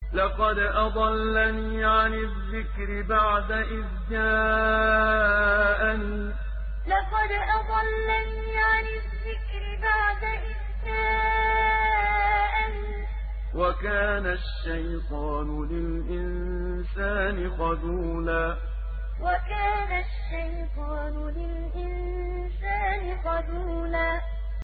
لَّقَدْ أَضَلَّنِي عَنِ الذِّكْرِ بَعْدَ إِذْ جَاءَنِي ۗ وَكَانَ الشَّيْطَانُ لِلْإِنسَانِ خَذُولًا لَّقَدْ أَضَلَّنِي عَنِ الذِّكْرِ بَعْدَ إِذْ جَاءَنِي ۗ وَكَانَ الشَّيْطَانُ لِلْإِنسَانِ خَذُولًا